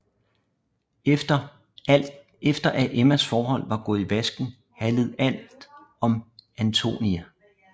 Efter at Emmas forhold var gået i vasken handlede alt om Antonie